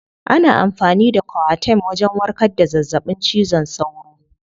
Ana amfani da coartem wajen warkar da zazzaɓin cizon sauro.